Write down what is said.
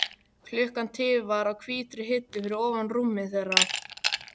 Klukka tifar á hvítri hillu fyrir ofan rúmið þeirra.